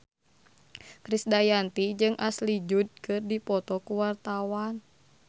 Krisdayanti jeung Ashley Judd keur dipoto ku wartawan